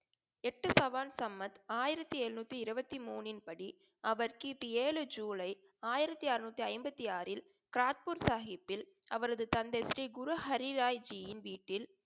எட்டு சவான் சமத் ஆயிரத்தி எளுனுற்றி இருபத்தி மூனின்படி, அவர் கி. பி. ஏழு ஜூலை ஆயிரத்தி ஆறநூற்றி ஐம்பத்தி ஆறில் கிராரக்பூர் சாஹிபில் அவரது தந்தை ஸ்ரீ குரு ஹரிறாய்ஜியின் வீட்டில்